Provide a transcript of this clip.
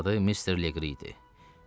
Bu ağanın adı Mister Legri idi.